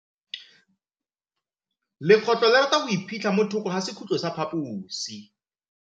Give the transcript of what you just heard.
Legôtlô le rata go iphitlha mo thokô ga sekhutlo sa phaposi.